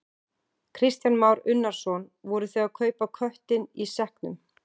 Kristján Már Unnarsson: Voru þið að kaupa köttinn í sekknum?